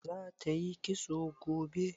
Za ta yi kitso gobe?